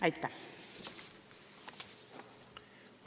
Aitäh!